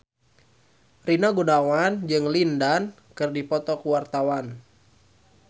Rina Gunawan jeung Lin Dan keur dipoto ku wartawan